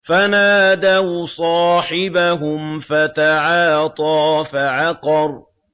فَنَادَوْا صَاحِبَهُمْ فَتَعَاطَىٰ فَعَقَرَ